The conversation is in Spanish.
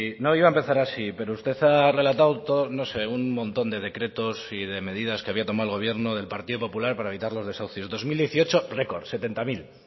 no iba a empezar así pero usted ha relatado no sé un montón de decretos y de medidas que había tomado el gobierno del partido popular para evitar los desahucios dos mil dieciocho record